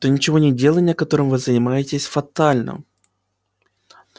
то ничегонеделание которым вы занимаетесь фатально